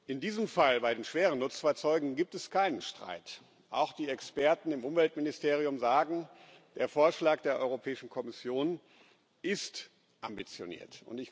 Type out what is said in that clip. In diesem Fall, bei den schweren Nutzfahrzeugen, gibt es keinen Streit. Auch die Experten im Umweltministerium sagen Der Vorschlag der Europäischen Kommission ist ambitioniert.